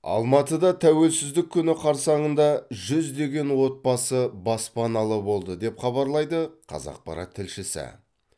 алматыда тәуелсіздік күні қарсаңында жүздеген отбасы баспаналы болды деп хабарлайды қазақпарат тілшісі